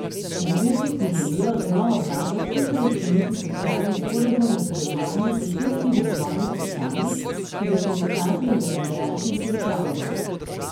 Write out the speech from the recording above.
V zvezi si želijo z novo vlado čim prej skleniti socialni sporazum o sodelovanju pri ključnih razvojnih vprašanjih, ki ga sindikati in delodajalci že pripravljajo.